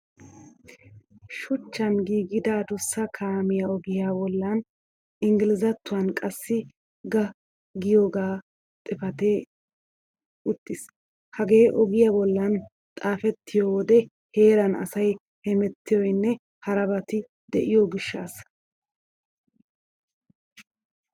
Shuchan giigida adussa kaamiya ogiya bollan inggilzzatttuwan qassi ga giyaagee xaafetti uttis. Hagee ogiya bollan xaafettiyo wode heeran asay hemettiyonne harabati de'iyo gishshaassa.